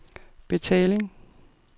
betaling